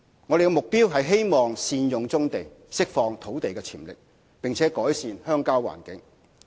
我們的目標是希望善用棕地，釋放土地潛力，並改善鄉郊環境。